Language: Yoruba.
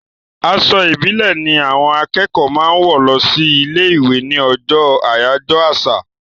Aṣọ ìbílẹ̀ ni àwọn akẹ́kọ̀ọ́ máa ń wọ̀ lọ sí ilé-ìwé ní ọjọ́ àyájọ́ àṣà.